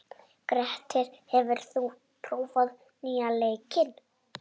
Grettir, hefur þú prófað nýja leikinn?